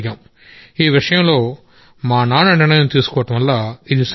ఈ విషయంలో మా నాన్న నిర్ణయం తీసుకోవడం వల్ల ఇది సాధ్యమైంది